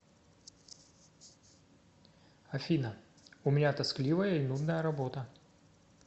афина у меня тоскливая и нудная работа